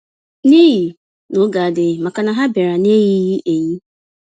n'ihi n'oge adịghị, màkà na ha biara n'eyighi-eyi.